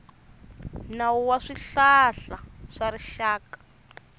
nawu wa swihlahla swa rixaka